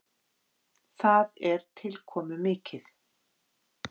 Það er tilkomumikið.